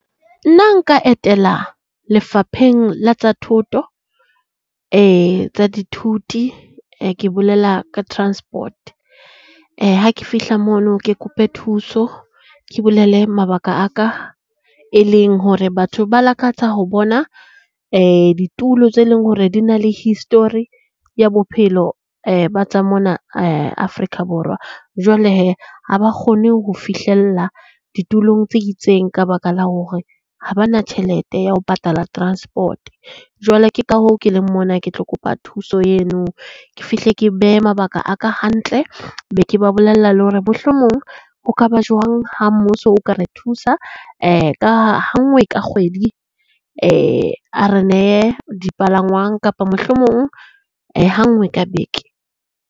Nna nka etela Lefapheng la tsa Thuto, ee tsa dithuti ke bolela ka transport. Ha ke fihla mono, ke kope thuso ke bolele mabaka aka e leng hore, batho ba lakatsa ho bona ditulo tse leng hore di na le history ya bophelo ba tsa mona Afrika Borwa. Jwale hee ha ba kgone ho fihlella ditulong tse itseng ka baka la hore ha ba na tjhelete ya ho patala transport. Jwale ke ka hoo ke leng mona ke tlo kopa thuso eno. Ke fihle ke behe mabaka a ka hantle. Be ke ba bolella le hore mohlomong ho ka ba jwang ha mmuso o ka re thusa ka ha ha nngwe ka kgwedi a re nehe dipalangwang, kapa mohlomong ha nngwe ka beke.